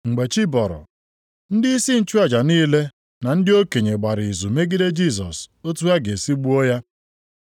Mgbe chi bọrọ, ndịisi nchụaja niile na ndị okenye gbara izu megide Jisọs otu ha ga-esi gbuo ya.